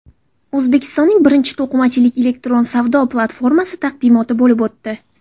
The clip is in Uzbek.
O‘zbekistonning birinchi to‘qimachilik elektron savdo platformasi taqdimoti bo‘lib o‘tdi.